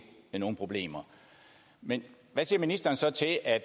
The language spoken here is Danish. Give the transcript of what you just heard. nogen problemer men hvad siger ministeren så til at